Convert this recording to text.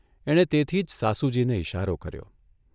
એણે તેથી જ સાસુજીને ઇશારો કર્યો.